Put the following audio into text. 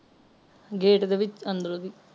gate ਦੇ ਵਿਚ ਅੰਦਰੋਂ ਦੀ